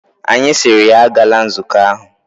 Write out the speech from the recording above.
Anyi siri ya, agala nzuko ahu!